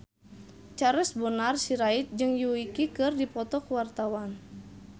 Charles Bonar Sirait jeung Yui keur dipoto ku wartawan